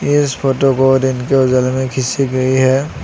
इस फोटो को दिन के उजाले में खीची गई है।